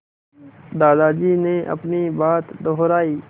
दादाजी ने अपनी बात दोहराई